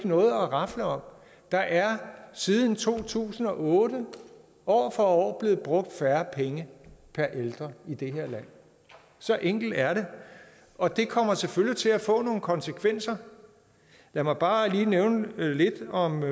noget rafle om der er siden to tusind og otte år for år blevet brugt færre penge per ældre i det her land så enkelt er det og det kommer selvfølgelig til at få nogle konsekvenser lad mig bare lige nævne lidt om